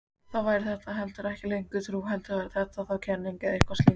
Þá væri þetta heldur ekki lengur trú heldur væri þetta þá kenning eða eitthvað slíkt.